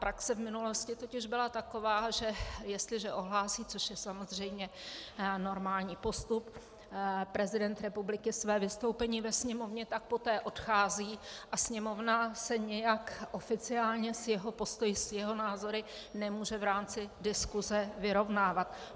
Praxe v minulosti totiž byla taková, že jestliže ohlásí, což je samozřejmě normální postup, prezident republiky své vystoupení ve Sněmovně, tak poté odchází a Sněmovna se nějak oficiálně s jeho postoji, s jeho názory nemůže v rámci diskuse vyrovnávat.